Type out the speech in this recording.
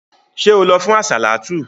Ṣé o lọ fún àsàlátù?